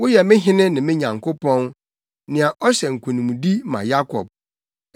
Woyɛ me Hene ne me Nyankopɔn, nea ɔhyɛ nkonimdi ma Yakob.